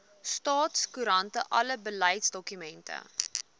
staatskoerant alle beleidsdokumente